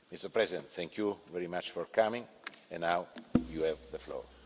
President Iohannis, thank you very much for coming, and now you have the floor.